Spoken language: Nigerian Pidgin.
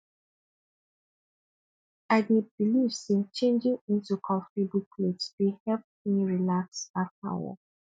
i dey believe say changing into comfortable clothes dey help me relax after work